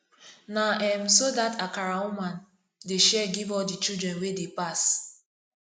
na um so dat akara woman dey share give all di children wey dey pass